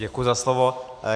Děkuji za slovo.